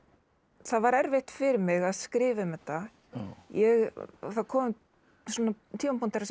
það var erfitt fyrir mig að skrifa um þetta það komu svona tímapunktar þar sem